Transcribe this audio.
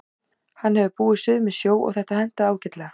Hann hefur búið suður með sjó og þetta hentaði ágætlega.